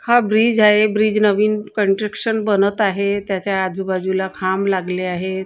हा ब्रिज आहे ब्रिज नवीन कंट्रक्शन बनत आहे त्याच्या आजूबाजूला खांब लागले आहेत.